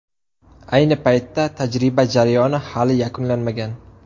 Ayni paytda tajriba jarayoni hali yakunlanmagan.